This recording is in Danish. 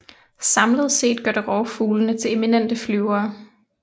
Samlet set gør det rovfuglene til eminente flyvere